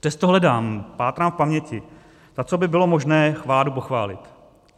Přesto hledám, pátrám v paměti, za co by bylo možné vládu pochválit.